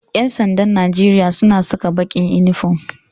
Ƴansandan Najeria suna saka baƙin inifom